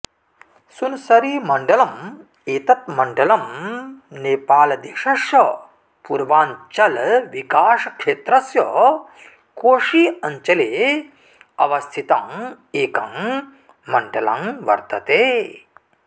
सुनसरीमण्डलम् एतत् मण्डलं नेपालदेशस्य पूर्वाञ्चलविकाशक्षेत्रस्य कोशी अञ्चले अवस्थितं एकं मण्डलं वर्तते